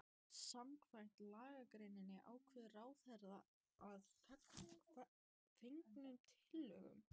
Samkvæmt lagagreininni ákveður ráðherra að fengnum tillögum